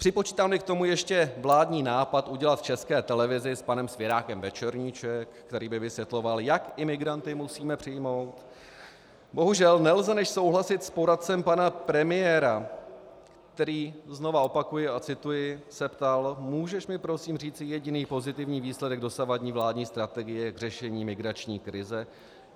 Připočítám-li k tomu ještě vládní nápad udělat v České televizi s panem Svěrákem večerníček, který by vysvětloval, jak imigranty musíme přijmout, bohužel nelze než souhlasit s poradcem pana premiéra, který, znova opakuji a cituji, se ptal: "Můžeš mi prosím říci jediný pozitivní výsledek dosavadní vládní strategie k řešení migrační krize?